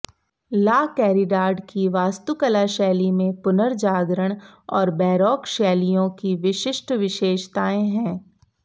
ला Caridad की वास्तुकला शैली में पुनर्जागरण और बैरोक शैलियों की विशिष्ट विशेषताएं हैं